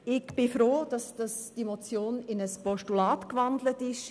Ich bin froh, dass die Motion in ein Postulat umgewandelt worden ist.